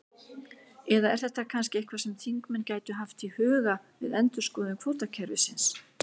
Eða er þetta kannski eitthvað sem þingmenn gætu haft í huga við endurskoðun kvótakerfisins?